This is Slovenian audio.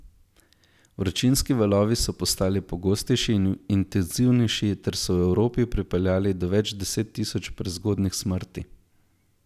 Vročinski valovi so postali pogostejši in intenzivnejši ter so v Evropi pripeljali do več deset tisoč prezgodnjih smrti.